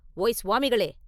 “ஓய் சுவாமிகளே!